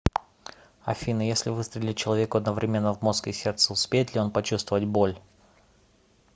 афина если выстрелить человеку одновременно в мозг и сердце успеет ли он почувствовать боль